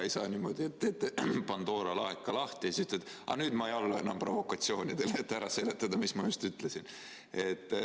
Ei saa niimoodi, et te teete Pandora laeka lahti ja siis ütlete, et aga nüüd ma ei allu enam provokatsioonidele, et ära seletada, mis ma just ütlesin.